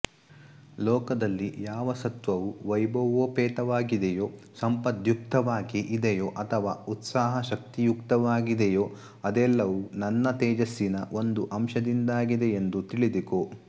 ಲೋಕದಲ್ಲಿ ಯಾವ ಸತ್ತ್ವವು ವೈಭವೋಪೇತವಾಗಿದೆಯೋ ಸಂಪದ್ಯುಕ್ತವಾಗಿ ಇದೆಯೋ ಅಥವಾ ಉತ್ಸಾಹಶಕ್ತಿಯುಕ್ತವಾಗಿದೆಯೋ ಅದೆಲ್ಲವೂ ನನ್ನ ತೇಜಸ್ಸಿನ ಒಂದು ಅಂಶದಿಂದಾಗಿದೆಯೆಂದು ತಿಳಿದುಕೋ